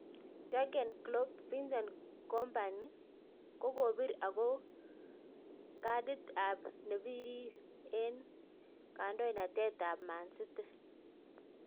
Jurgen Klopp. Vincent kompany kokopir ogo kadit ap nepirir en ngandonatet ap man city